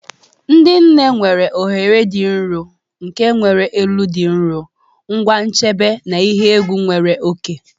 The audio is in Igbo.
Ndị nne mere oghere dị nro nke nwere elu dị nro, ngwa nchebe na ihe egwu nwere oke.